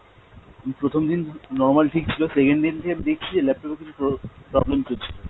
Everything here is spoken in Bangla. প্রথমদিন normal ঠিক ছিল, second দিন থেকে দেখছি যে laptop এ কিছু প্র~ problem চলছিল।